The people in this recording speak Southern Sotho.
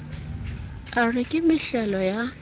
a re ke mehlehlo ya